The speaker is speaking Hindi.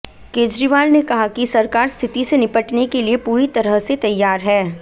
केजरीवाल ने कहा कि सरकार स्थिति से निपटने के लिए पूरी तरह से तैयार है